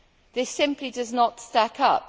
This simply does not stack up